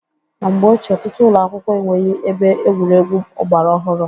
Na mgbe ochie, ọtụtụ ụlọakwụkwọ enweghị ebe egwuregwu ọgbara ọhụrụ.